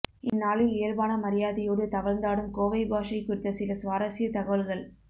இந்நாளில் இயல்பான மரியாதையோடு தவழ்ந்தாடும் கோவை பாஷை குறித்த சில சுவாரசிய தகவல்கள்